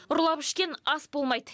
ұрлап ішкен ас болмайды